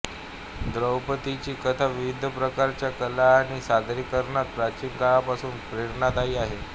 द्रौपदीची कथा विविध प्रकारच्या कला आणि सादरीकरणांत प्राचीन काळापासून प्रेरणादायी आहे